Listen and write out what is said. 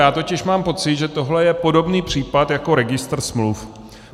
Já totiž mám pocit, že tohle je podobný případ jako registr smluv.